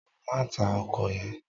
Má tá òkò yèn